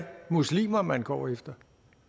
muslimer man går efter